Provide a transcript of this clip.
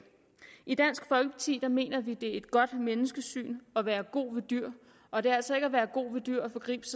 i dansk folkeparti mener vi det er et godt menneskesyn at være god ved dyr og det er altså ikke at være god ved dyr at forgribe